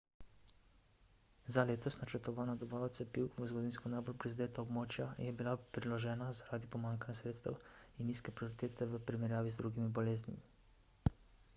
za letos načrtovana dobava cepiv v zgodovinsko najbolj prizadeta območja je bila preložena zaradi pomanjkanja sredstev in nizke prioritete v primerjavi z drugimi boleznimi